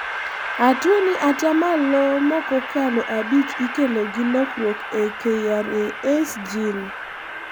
atuwoni atamalo mokokalo abich ikelo gi lokruok e KRAS gene